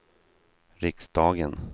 riksdagen